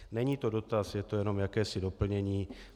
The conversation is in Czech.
Není to dotaz, je to jenom jakési doplnění.